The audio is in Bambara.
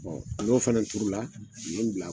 Bɛ n'o fana turu la bila